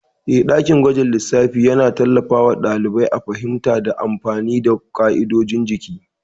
Eh, dakin gwajin lissafi yana tallafawa ɗalibai a fahimta da amfani da ƙa'idodin jiki.